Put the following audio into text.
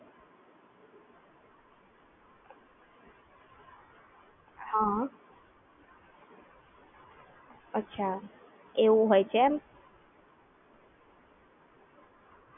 હા